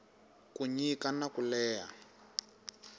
ku nyika na ku leha